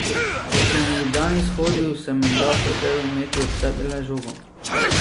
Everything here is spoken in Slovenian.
Ko sem v Ljubljani shodil, sem menda hotel imeti ob sebi le žogo.